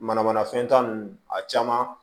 Mana mana fɛn ta ninnu a caman